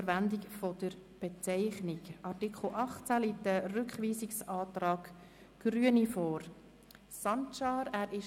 Zu diesem Artikel liegt ein Rückweisungsantrag der Grünen, Hasim Sancar, Bern, vor.